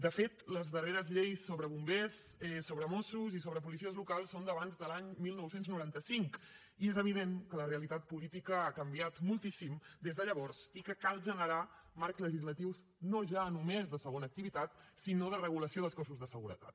de fet les darreres lleis sobre bombers sobre mossos i sobre policies locals són d’abans de l’any dinou noranta cinc i és evident que la realitat política ha canviat moltíssim des de llavors i que cal generar marcs legislatius no ja només de segona activitat sinó de regulació dels cossos de seguretat